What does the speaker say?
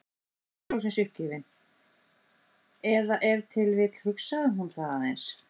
Spurði loks uppgefin- eða ef til vill hugsaði hún það aðeins